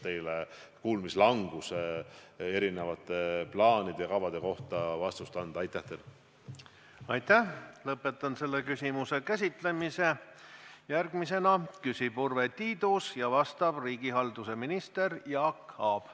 Nüüd oleme alates sügisest väga tõsiselt koos Siseministeeriumiga selle kriisi põhjal täpsustanud, mõelnud läbi, kuidas asi paremini toimiks.